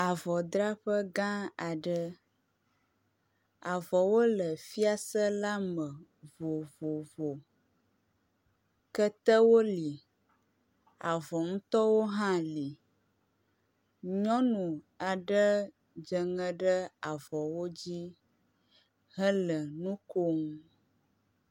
avɔ draƒe gã aɖe, avɔwo le fiase la me vovovo ketewo li avɔ ŋtɔwo hã li nyɔnu aɖe dzeŋe ɖe avɔwo dzi hele ŋukom